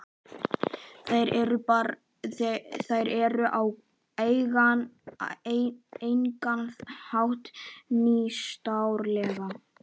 Þær eru á engan hátt nýstárlegar.